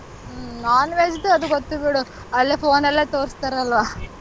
ಹ್ಮ್ non-veg ದು ಅದು ಗೊತ್ತು ಬಿಡು ಅಲ್ಲೇ phone ಅಲ್ಲೇ ತೋರ್ಸ್ತಾರಲ್ವ.